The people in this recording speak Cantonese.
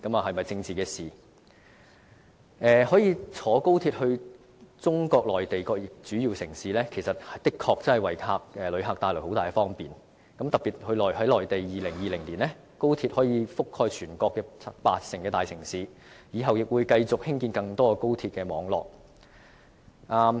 可以乘搭高鐵到中國內地各主要城市，的確可以為旅客帶來很大方便，特別在2020年，高鐵可以覆蓋全國八成大城市，以後亦會繼續興建更多高鐵網絡。